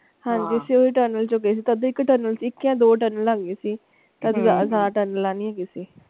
ਹਾਂਜੀ ਅਸੀਂ ਓਸੇ tunnel ਚੋ ਗਏ ਸੀ ਤਦੇ ਇੱਕ tunnel ਇਕ ਜਾ ਦੋ tunnel ਹੈਗੀ ਸੀ ਹੈਗੀ ਸੀ।